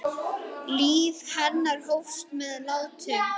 Líf hennar hófst með látum.